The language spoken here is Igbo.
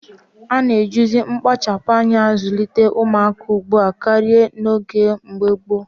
A naghị ejizi mkpachapụ́ anya azụlite ụmụaka n'oge ugbua karịa ka ọ dị na mgbe gboo